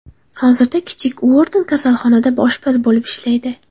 Hozirda kichik Uorton kasalxonada oshpaz bo‘lib ishlaydi.